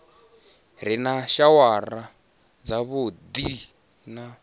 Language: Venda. re na shawara dzavhuddi na